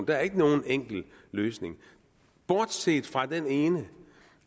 er ikke nogen enkel løsning bortset fra den ene